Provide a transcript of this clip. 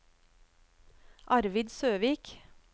Arvid Søvik